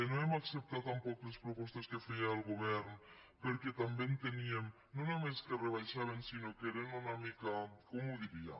no hem acceptat tampoc les propostes que feia el govern perquè també enteníem no només que rebaixaven sinó que eren una mica com ho diria